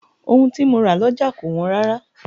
Ohun tí mo ra lọ́jà kò wọ́n rárá.